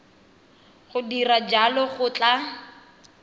go dira jalo go tla